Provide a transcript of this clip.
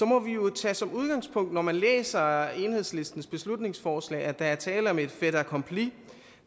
må vi jo tage som udgangspunkt når man læser enhedslistens beslutningsforslag at der er tale om et fait accompli